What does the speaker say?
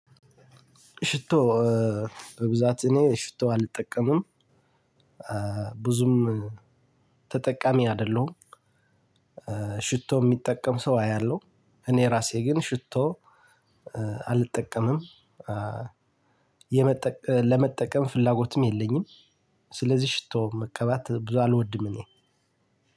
ሽቶ በብዛት እኔ ሽቶ አልጠቀምም። ብዙም ተጠቃሚ አይደለሁም። ሽቶ የሚጠቀም ሰው አያለሁ። እኔ ራሴ ግን ሽቶ አልጠቀምም። ለመጠቀም ፍላጎትም የለኝም። ስለዚህ ሽቶ መቀባት ብዙ አልወድም እኔ።